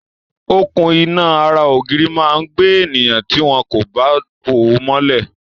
Okùn-iná ara ògiri máa gbé ènìyàn tí wọn kò bá bò ó mọ́lẹ̀.